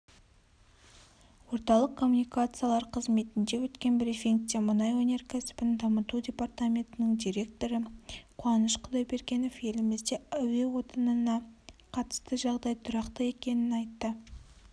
орталық коммуникациялар қызметінде өткен брифингте мұнай өнеркәсібін дамыту департаментінің директоры қуаныш құдайбергенов елімізде әуе отынына қатысты жағдай тұрақты екенін айтты